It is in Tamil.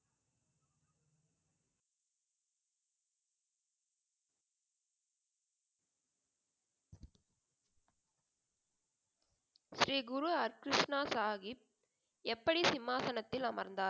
ஸ்ரீ குரு அர்கிருஷ்ணா சாகிப் எப்படி சிம்மாசனத்தில் அமர்ந்தார்?